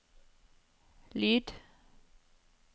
lyd